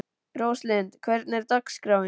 Róslind, hvernig er dagskráin?